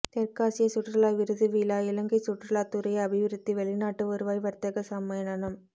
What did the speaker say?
தெற்காசிய சுற்றுலா விருது விழா இலங்கை சுற்றுலாத் துறை அபிவிருத்தி வெளிநாட்டு வருவாய் வர்த்தக சம்மேளனம்